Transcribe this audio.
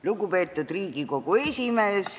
Lugupeetud Riigikogu esimees!